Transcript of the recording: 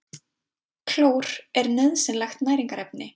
Klór er nauðsynlegt næringarefni.